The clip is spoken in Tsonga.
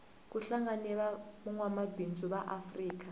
kuhlangene vangwamabindzu vaafrika